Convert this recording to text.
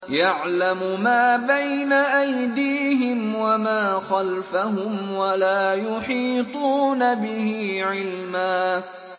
يَعْلَمُ مَا بَيْنَ أَيْدِيهِمْ وَمَا خَلْفَهُمْ وَلَا يُحِيطُونَ بِهِ عِلْمًا